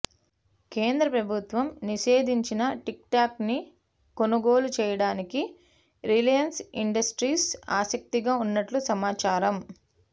కేంద్ర ప్రభుత్వం నిషేధించిన టిక్టాక్ను కొనుగోలు చేయడానికి రిలయన్స్ ఇండిస్టీస్ ఆసక్తిగా ఉన్నట్టు సమాచారం